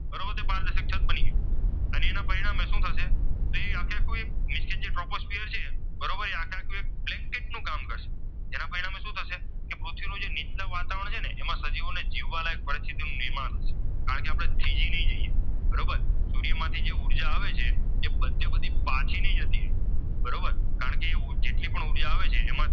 જે પૃથ્વીનું જે નિત્યમ વાતાવરણ છે ને એમાં સજીવોને જીવવાના ફ્લીતું નિર્માણ છે કારણકે આપણે થીજી નાય જય્યે બરોબર સૂર્ય માંથી જે ઉર્જા આવે છે જર બાધ્ય પરથી પછી નહિ જતી બરોબર કારણકે તે જેટલી પણ ઉર્જા આવે છે